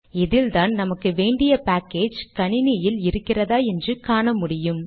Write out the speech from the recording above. இதில்தான் நமக்கு வேண்டிய பேக்கேஜ் கணினியில் இருக்கிறதா என்று காணமுடியும்